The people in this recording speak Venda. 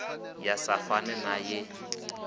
ya sa fane na ye